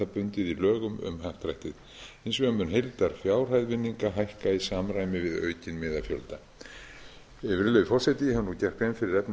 bundið í lögum um happdrættið hins vegar mun heildarfjárhæð vinninga hækka í samræmi við aukinn miðafjölda virðulegi forseti ég hef nú gert grein fyrir efni